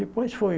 Depois foi